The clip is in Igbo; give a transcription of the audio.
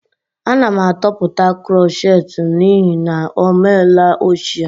Ana m atọpụta krochet m n'ihi na ọ meela ochie